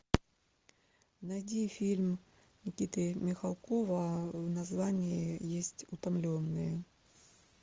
найди фильм никиты михалкова в названии есть утомленные